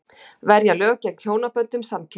Verja lög gegn hjónaböndum samkynhneigðra